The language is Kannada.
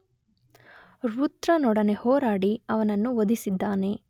ವೃತ್ರನೊಡನೆ ಹೋರಾಡಿ ಅವನನ್ನು ವಧಿಸಿದ್ದಾನೆ.